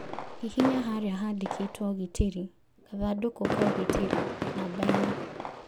Hihinya harĩa handikitwo ũgitĩri ( gathandũkũ ka ũgitĩri) namba inya.